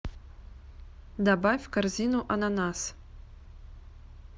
добавь в корзину ананас